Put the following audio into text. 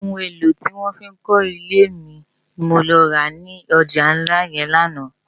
Óoun élò tiwòn fi n kò ilé ni mó lò rá no ilé òjá nlá yèn làná